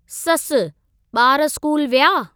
ससुः बा॒र स्कूल विया?